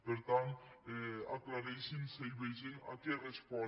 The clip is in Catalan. per tant aclareixin se i vegin a què respon